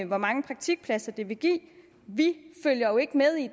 hvor mange praktikpladser det vil give vi følger jo ikke med i